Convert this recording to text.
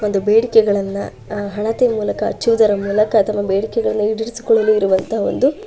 ಒಂದು ಬೇಡಿಕೆಗಳನ್ನ ಆ ಹಣತೆ ಮೂಲಕ ಹಚ್ಚುವುದರ ಮೂಲಕ ಅಥವಾ ಬೇಡಿಕೆಗಳನ್ನ ಈಡೇರಿಸಿ ಕೊಳ್ಳುಲು ಇರುವತ ಒಂದು --